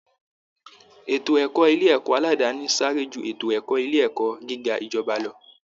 Ètò ẹ̀kọ́ ilé ẹ̀kọ́ aládàáni sáré ju ètò ẹ̀kọ́ ilé ẹ̀kọ́ gíga ìjọba lọ